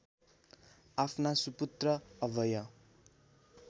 आफ्ना सुपुत्र अभय